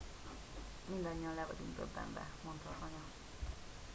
mindannyian le vagyunk döbbenve - mondta az anya